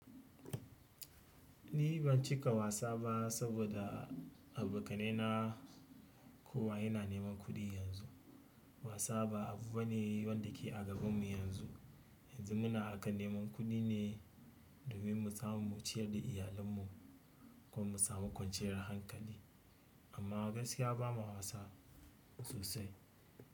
Eh ban cika wasa bah saboda kowa yana neman kuɗi yanzu. Wasa ba abu ba ne wanda ke a gabanmu yanzu. Yanzu muna a kan neman kuɗi ne domin mu samu mu ciyar da iyalanmu ko mu samu kwanciyar hankali. Amma gaskiya bamu wasa sosai.